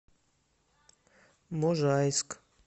можайск